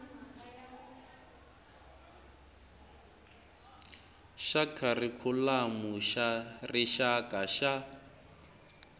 xa kharikhulamu xa rixaka xa